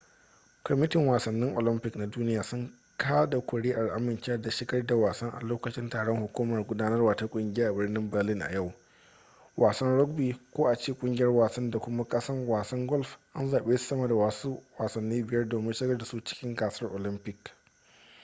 kwamitin wasannin olympic na duniya sun kada kuri'ar amincewa da shigar da wasan a lokacin taron hukumar gudanarwa ta kungiyar a birnin berlin a yau wasan rugby ko a ce kungiyar wasan da kuma wasan golf an zabe su sama da wasu wasannin biyar domin shigar da su cikin gasar olympic